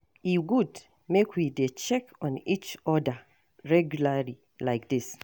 E good make we dey check on each oda regularly like dis.